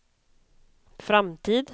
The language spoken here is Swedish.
framtid